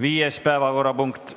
Viies päevakorrapunkt